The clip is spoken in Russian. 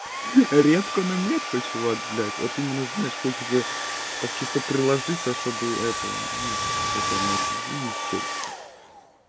редко но метко чувак блядь вот именно знаешь хочется так чисто приложиться чтобы это что там это ну челюсть